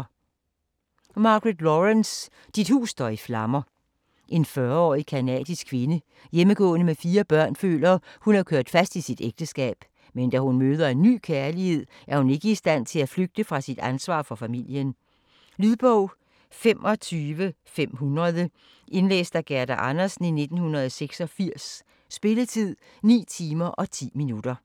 Laurence, Margaret: Dit hus står i flammer En 40-årig canadisk kvinde, hjemmegående med fire børn, føler, at hun er kørt fast i sit ægteskab, men da hun møder en ny kærlighed, er hun ikke i stand til at flygte fra sit ansvar for familien. Lydbog 25500 Indlæst af Gerda Andersen, 1986. Spilletid: 9 timer, 10 minutter.